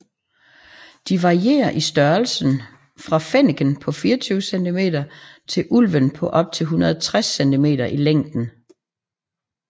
De varierer i størrelse fra fenneken på 24 cm til ulven på op til 160 cm i længden